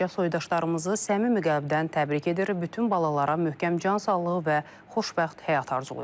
Balaca soydaşlarımızı səmimi qəlbdən təbrik edir, bütün balalara möhkəm can sağlığı və xoşbəxt həyat arzulayıram.